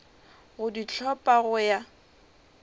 go di hlopha go ya